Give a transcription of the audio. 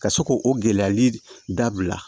Ka se k'o gɛlɛyali dabila